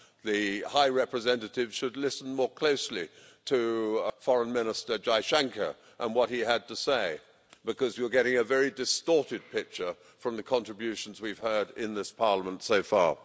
The High Representative should listen more closely to Foreign Minister Jaishankar and what he had to say, because you are getting a very distorted picture from the contributions we've heard in this Parliament so far.